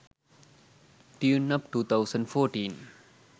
tuneup 2014